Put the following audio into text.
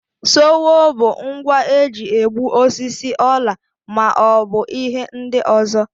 Sowo bụ ngwa eji egbu osisi, ọla ma ọ bụ ihe ndị ọzọ.